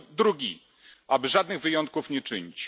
I drugi aby żadnych wyjątków nie czynić.